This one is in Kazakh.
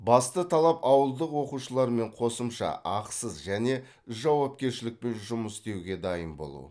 басты талап ауылдық оқушылармен қосымша ақысыз және жауапкершілікпен жұмыс істеуге дайын болу